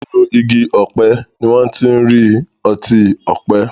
Nínú Igi ọ̀pẹ ni wón tí ń rí otí òpe.